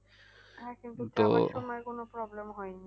হ্যাঁ কিন্তু হয়নি